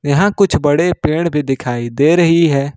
यहां कुछ बड़े पेड़ भी दिखाई दे रही है।